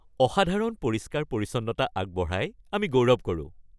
অসাধাৰণ পৰিষ্কাৰ-পৰিচ্ছন্নতা আগবঢ়াই আমি গৌৰৱ কৰোঁ।